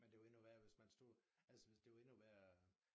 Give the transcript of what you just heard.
Men det jo endnu værre hvis man stod altså hvis det jo endnu værre